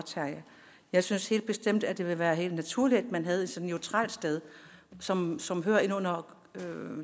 jeg synes helt bestemt at det ville være helt naturligt at man havde et neutralt sted som som hører ind under